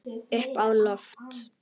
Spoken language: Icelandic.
Upp á loft.